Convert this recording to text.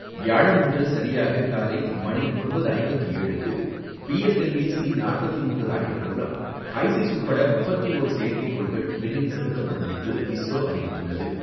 வியாழனன்று சரியாக காலை மணி ஒன்பது ஐம்பத்து ஏழு மணிக்கு P S L V C forty three rocket மூலம் ஹைஸிஸ் உட்பட முப்பத்து ஓரு செயற்கைக்கோள்கள் விண்ணில் செலுத்தப்படும் என்று இஸ்ரோ அறிவித்துள்ளது.